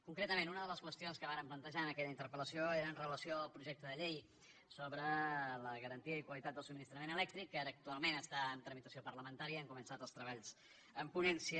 concretament una de les qüestions que vàrem plantejar en aquella interpel·lació era amb relació al projecte de llei sobre la garantia i qualitat del subministrament elèctric que ara actualment està en tramitació parlamentària hem començat els treballs en ponència